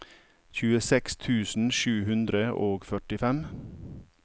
tjueseks tusen sju hundre og førtifem